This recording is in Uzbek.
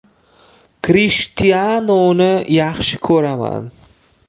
Krishtianuni yaxshi ko‘raman!